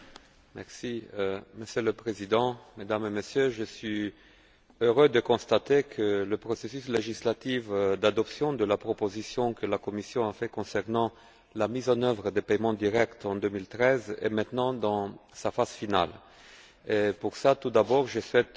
Monsieur le Président, Mesdames et Messieurs, je suis heureux de constater que le processus législatif d'adoption de la proposition que la Commission a faite concernant la mise en œuvre des paiements directs en 2013 est maintenant dans sa phase finale. Tout d'abord, je souhaite remercier